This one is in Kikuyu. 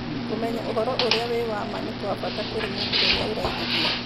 Kũmenya ũhoro ũrĩa wĩ wa ma nĩ kwa bata kũrĩ mũndũ ũrĩa araigithia.